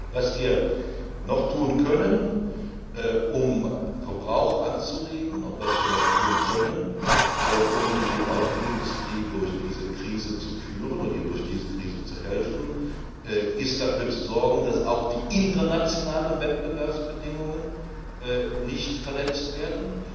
Was wir noch tun können, um den Verbrauch anzuregen und um die Automobilindustrie durch diese Krise zu führen und ihr durch diese Krise zu helfen, ist, dafür zu sorgen, dass auch die internationalen Wettbewerbsbedingungen nicht verletzt